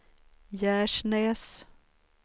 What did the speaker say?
Gärsnäs